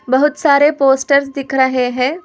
बहुत सारे पोस्टर दिख रहे हैं।